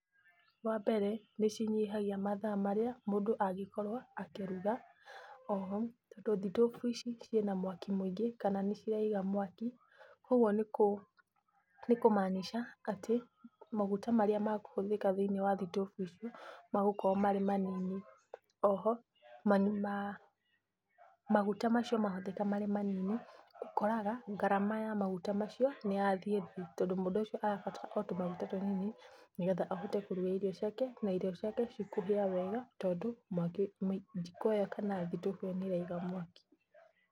Wambere nĩcinyihagia mathaa marĩa mũndũ angĩkorwo akĩruga. Oho, tondũ thitobu ici ciĩna mwaki mũingĩ kana nĩciraiga mwaki, ũguo nĩkũ maanisha atĩ maguta marĩa makũhũthĩka thĩiniĩ wa thitobu icio magũkorwo marĩ manini. Oho maa, maguta macio mahũthĩka marĩ manini, ũkoraga ngarama ya maguta macio nĩyathiĩ thĩ, tondũ mũndũ ũcio arabatara o tũmaguta tũnini nĩgetha ahote kũruga irio ciake, na irio ciake cikũhĩa wega, tondũ mwaki mũi, jiko ĩyo kana thitobu ĩyo nĩraiga mwaki.